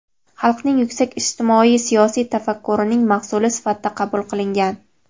xalqning yuksak ijtimoiy-siyosiy tafakkurining mahsuli sifatida qabul qilingan.